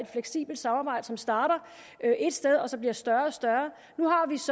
fleksibelt samarbejde som startede et sted og blev større og større nu